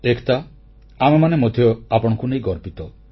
ଏକତା ଆମେମାନେ ମଧ୍ୟ ଆପଣଙ୍କୁ ନେଇ ଗର୍ବିତ